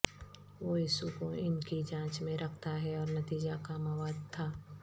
وہ یسوع کو ان کی جانچ میں رکھتا ہے اور نتیجہ کا مواد تھا